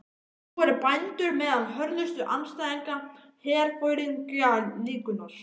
Nú eru bændur meðal hörðustu andstæðinga herforingjaklíkunnar.